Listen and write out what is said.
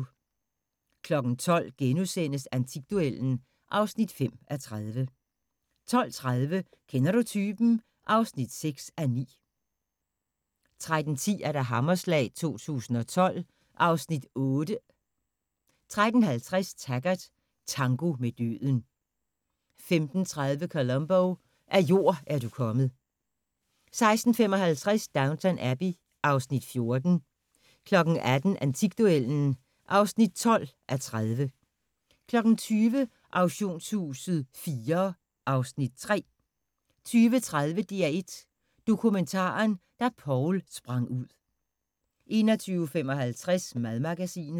12:00: Antikduellen (5:30)* 12:30: Kender du typen? (6:9) 13:10: Hammerslag 2012 (Afs. 8) 13:50: Taggart: Tango med døden 15:30: Columbo: Af jord er du kommet 16:55: Downton Abbey (Afs. 14) 18:00: Antikduellen (12:30) 20:00: Auktionshuset IV (Afs. 3) 20:30: DR1 Dokumentaren: Da Poul sprang ud 21:55: Madmagasinet